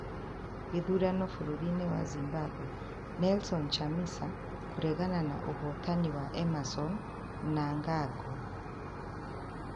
Gĩthurano bũrũri-inĩ wa Zimbabwe: Nelson Chamisa kũregana na ũhootani wa Emmerson Mnangagwa